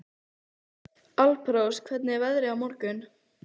Alparós, hvernig er veðrið á morgun?